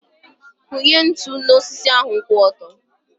Kụnye ntụ n'osisi ahu kwụ ọtọ.